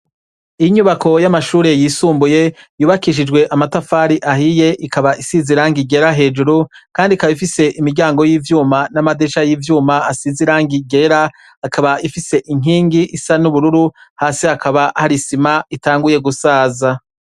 inyubako y'amashuri yisumbuye yubakishijwe amatafari ahiye ikaba isize irangi ryera hejuru kandi ikaba ifise imiryango y'ivyuma n'amadirisha y'ivyuma asize irangi ryera akaba ifise inkingi isa n'ubururu hasi akaba hari isima itanguye gusaza